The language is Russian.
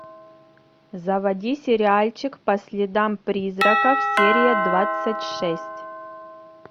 заводи сериальчик по следам призраков серия двадцать шесть